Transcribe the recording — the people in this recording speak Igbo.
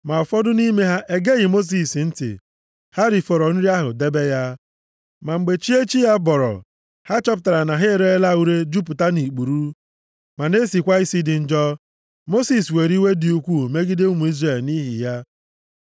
Ma ụfọdụ nʼime ha egeghị Mosis ntị. Ha rifọrọ nri ahụ debe ya. Ma mgbe chi echi ya bọrọ, ha chọpụtara na ha ereela ure jupụta nʼikpuru, ma na-esikwa isi dị njọ. Mosis were iwe dị ukwuu megide ụmụ Izrel nʼihi ya.